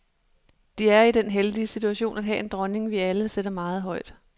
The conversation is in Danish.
De er i den heldige situation at have en dronning, vi alle sætter meget højt.